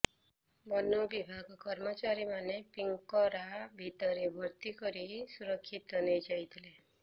ବନ ବିଭାଗ କର୍ମଚାରୀମାନେ ପିଜ୍ଞରା ଭିତରେ ଭର୍ତ୍ତି କରି ସୁରକ୍ଷିତ ନେଇଯାଇଥିଲେ